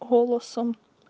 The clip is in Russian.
голосом